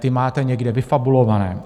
Ty máte někde vyfabulované.